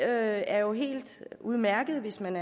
er jo helt udmærket hvis man